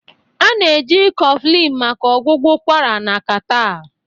A na-eji Coffin maka ọgwụgwọ ụkwara na catarrh